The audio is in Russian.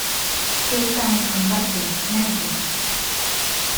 в кейптаунском порту найди